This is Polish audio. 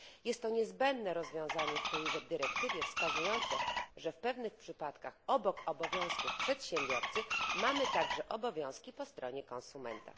Jest to niezbędne rozwiązanie w tej dyrektywie, wskazujące, że w pewnych przypadkach obok obowiązków przedsiębiorcy mamy także obowiązki po stronie konsumenta.